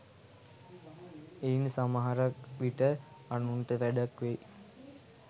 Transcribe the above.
එයින් සමහර විට අනුන්ට වැඩක් වෙයි